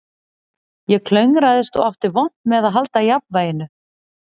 Ég klöngraðist og átti vont með að halda jafnvæginu